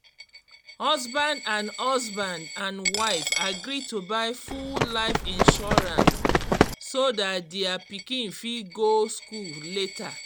husband and husband and wife agree to buy full life insurance so that dia pikin fit go school later